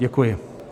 Děkuji.